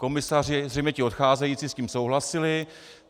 Komisaři, zřejmě ti odcházející, s tím souhlasili.